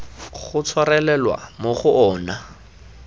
go tshwarelelwa mo go ona